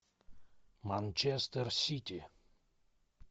манчестер сити